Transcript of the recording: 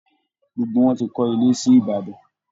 Gbogbo wọn ti kọ́ ilé sí Ìbàdàn